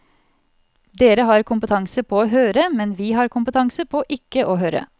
Dere har kompetanse på å høre, men vi har kompetanse på ikke å høre.